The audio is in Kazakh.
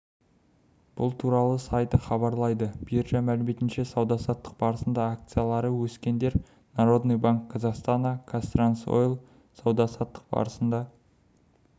бұл туралы сайты хабарлайды биржа мәліметінше сауда-саттық барысында акциялары өскендер народный банк казахстана казтрансойл сауда-саттық барысында